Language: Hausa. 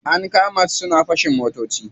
An kama su suna fashin motoci.